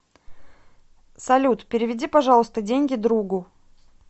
салют переведи пожалуйста деньги другу